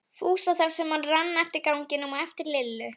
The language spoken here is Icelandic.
Fúsa þar sem hann rann eftir ganginum á eftir Lillu.